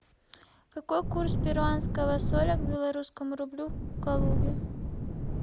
какой курс перуанского соля к белорусскому рублю в калуге